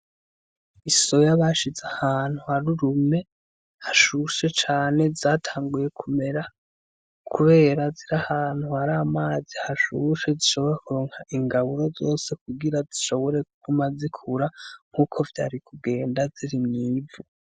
Isoya bashize ahantu hari urume hashushe cane zatanguye kumera kubera ziri ahantu hari amazi hashushe zishobora kuronka ingaburo zose kugira zishobore kuguma zikura nkuko vyari kugenda ziri mw'ivu.